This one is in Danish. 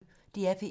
DR P1